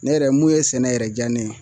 Ne yɛrɛ , mun ye sɛnɛ yɛrɛ diya ne ye